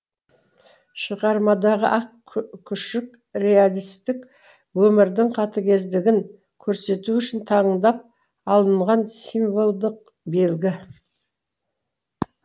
шығармадағы ақ күшік реалистік өмірдің қатыгездігін көрсету үшін таңдап алынған символдық белгі